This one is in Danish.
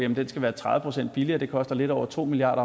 den skal være tredive procent billigere det koster lidt over to milliard